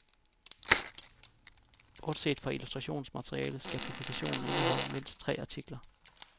Bortset fra illustrationsmaterialet skal publikationen indeholde mindst tre artikler.